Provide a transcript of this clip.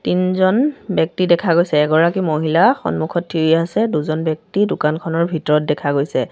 তিনজন ব্যক্তি দেখা গৈছে এগৰাকী মহিলা সন্মুখত থিয় হৈ আছে দুজন ব্যক্তি দোকানখনৰ ভিতৰত দেখা গৈছে।